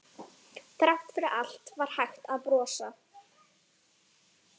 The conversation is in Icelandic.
Þrátt fyrir allt var hægt að brosa.